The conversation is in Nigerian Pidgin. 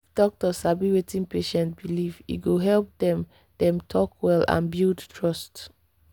if doctor sabi wetin patient believe e go help dem dem talk well and build trust.